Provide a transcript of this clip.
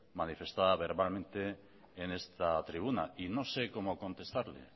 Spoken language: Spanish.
manifestada verbalmente en esta tribuna y no sé cómo contestarle